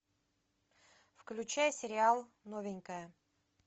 включай сериал новенькая